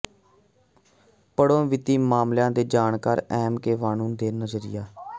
ਪੜ੍ਹੋ ਵਿੱਤੀ ਮਾਮਲਿਆਂ ਦੇ ਜਾਣਕਾਰ ਐੱਮ ਕੇ ਵੇਣੁ ਦਾ ਨਜ਼ਰੀਆ